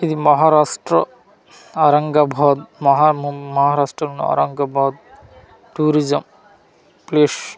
ఇది మహారాష్ట్ర ఔరంగాబాద్ మహా ము మహారాష్ట్ర ఔరంగాబాద్ టూరిజం పేష్ .